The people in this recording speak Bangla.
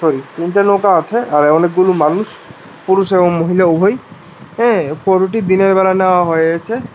তিনটা নৌকা আছে আর অনেকগুলো মানুষ পুরুষ এবং মহিলা উভয়ই অ্যা ফটো টি দিনের বেলা নেওয়া হয়েছে।